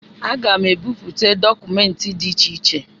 Aga m ebipụta dọkụmentị dị iche iche